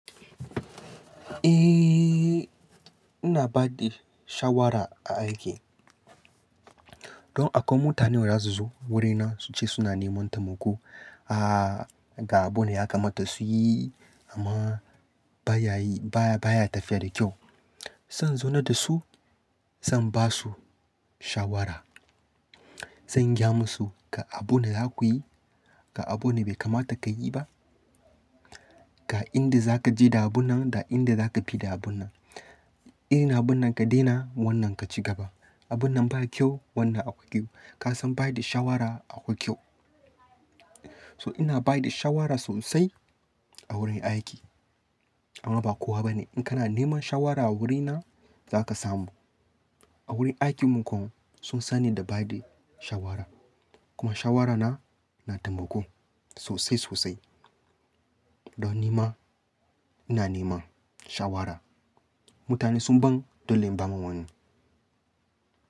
Eh, ina ba da shawara a aiki. Don akwai mutanen da za su zo wurina su ce suna neman tammako. Aaa, ga abune ya kamata su yi amma baya yi baya tafiya da kyau. Zan zauna da su, zan ba su shawara. Zan gaya musu ga abune za ku yi, ga abune bai kamata ka yi ba. Ga inda za ka je da abun nan da inda za ka fi da abun nan. Eh na abun nan ka daina wannan ka ci gaba. Abun nan ba kyau wannan akwai kyau. Kasan ba da shawara akwai kyau. So ina ba da shawara sosai a wurin aiki. Amma ba kowa bane in kana neman shawara a wurina za ka samu. A wurin aikin mu kuma sun sani da ba da shawara. Kuma shawarana na tambako sosai sosai. Don nema ina nema shawara. Mutane sun ban dole in bawa wani.